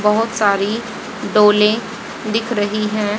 बहुत सारी डोलें दिख रही हैं।